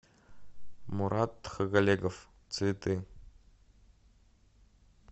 мурат тхагалегов цветы